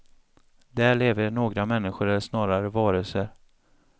Där lever några människor eller snarare varelser.